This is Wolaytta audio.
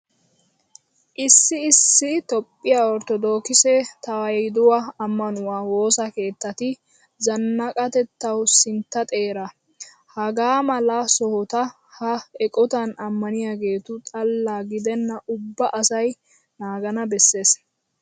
Issi issi toophphiya orttodookise tewaahiduwa ammanuwa woosa keettati zannaqatettawu sintta xeera. Hagaa mala sohota ha eqotan ammaniyageetu xalla gidenna ubba asay naagana bessees.